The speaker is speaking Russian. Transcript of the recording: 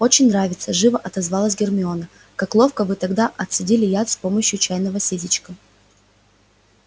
очень нравится живо отозвалась гермиона как ловко вы тогда отцедили яд с помощью чайного ситечка